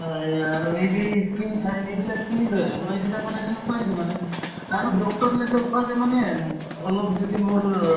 অ, এই আৰু এই যে ই skin shine এইবিলাক কিনি লৈ আহে মই এদিনাখন এদিন পাইছো মানে আৰু doctor ক নেদেখুৱাকে মানে উম অলপ যদি মোৰ